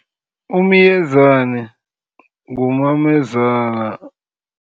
Umyezani ngumamezala.